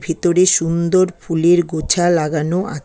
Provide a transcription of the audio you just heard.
ভেতরে সুন্দর ফুলের গোছা লাগানো আ--